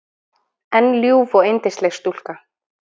En ljúf og yndisleg stúlka.